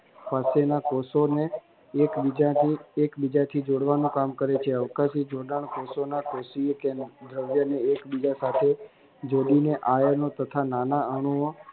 પ્રત્યેના કોષો નું તે આત્યન્તિત એક બીજાથિ જોડવાનું કામ કરે છે જોડાણ કોષોના કોષીય દ્રવ્યને એક બીજા સાથે જોડીને આયનો તથા નાના અણુઓ